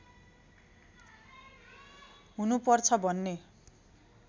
हुनु पर्छ भन्ने